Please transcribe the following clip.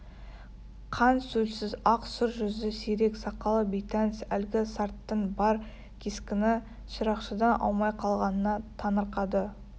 қан-сөлсіз ақ сұр жүзі сирек сақалы бейтаныс әлгі сарттың бар кескіні шырақшыдан аумай қалғанына таңырқады